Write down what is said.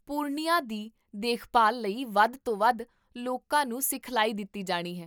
ਪੁਰਣਿਯਾ ਦੀ ਦੇਖਭਾਲ ਲਈ ਵੱਧ ਤੋਂ ਵੱਧ ਲੋਕਾਂ ਨੂੰ ਸਿਖਲਾਈ ਦਿੱਤੀ ਜਾਣੀ ਹੈ